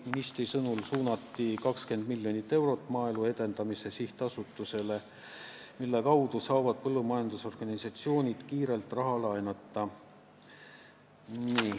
Ministri sõnul suunati 20 miljonit eurot Maaelu Edendamise Sihtasutusele, mille kaudu saavad põllumajandusorganisatsioonid kiirelt raha laenata.